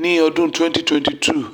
ni ọdun 2022 um